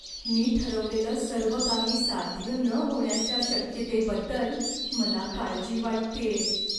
मी ठरवलेलं सर्व काही साध्य न होण्याच्या शक्यतेबद्दल मला काळजी वाटतेय.